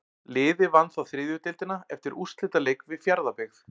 Liðið vann þá þriðju deildina eftir úrslitaleik við Fjarðabyggð.